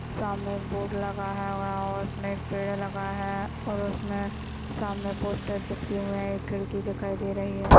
सामने बोर्ड लगा है और उसमे पेड़े लगाये है और उसमे सामने पोस्टर चिपकी हुआ है एक खिड़की दिखाई दे रही है।